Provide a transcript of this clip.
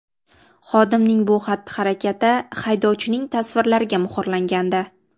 Xodimning bu xatti-harakati haydovchining tasvirlariga muhrlangandi.